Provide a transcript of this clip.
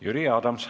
Jüri Adams.